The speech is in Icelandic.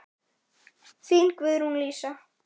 Þín, Guðrún Lísa.